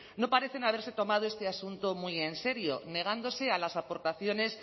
no parecen haberse tomado este asunto muy en serio negándose a las aportaciones